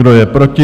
Kdo je proti?